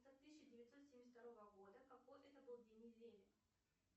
тысяча девятьсот семьдесят второго года какой это был день недели